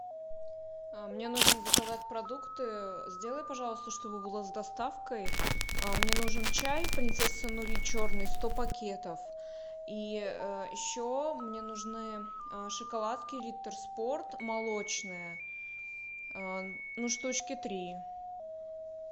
мне нужно заказать продукты сделай пожалуйста чтобы было с доставкой мне нужен чай принцесса нури черный сто пакетов и еще мне нужны шоколадки риттер спорт молочные ну штучки три